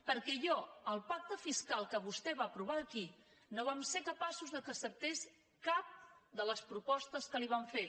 perquè jo el pacte fiscal que vostè va aprovar aquí no vam ser capaços que acceptés cap de les propostes que li vam fer